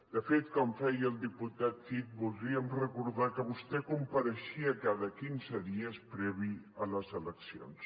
de fet com ho feia el diputat cid voldríem recordar que vostè compareixia cada quinze dies previ a les eleccions